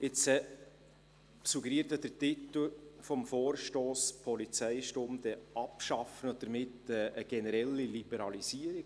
Jetzt suggeriert der Titel des Vorstosses «Polizeistunde abschaffen» eine generelle Liberalisierung.